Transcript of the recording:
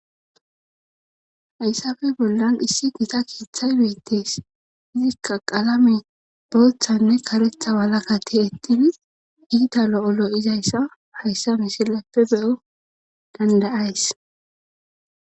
hayssafe bollan issi gita keeththay beittes izikka qalame booththanne karetha walakati ettidi iitalo7olo izayssa hayssa misilappe beyo dandayays